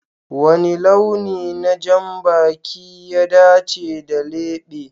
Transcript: Wani launi na janbaki ya dace da lebe?